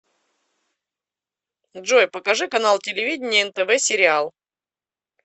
джой покажи канал телевидения нтв сериал